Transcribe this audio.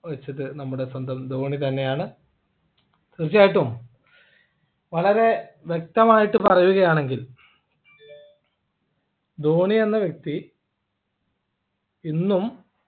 വെച്ചത് നമ്മുടെ സ്വന്തം ധോണി തന്നെയാണ് തീർച്ചയായിട്ടും വളരെ വ്യക്തമായിട്ട് പറയുകയാണെങ്കിൽ ധോണി എന്ന വ്യക്തി ഇന്നും